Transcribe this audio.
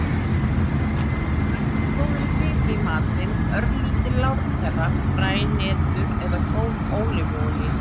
Bættu góðri fitu í matinn; örlítil lárpera, fræ, hnetur eða góð ólífuolía.